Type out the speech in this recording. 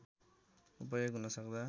उपयोग हुन सक्दा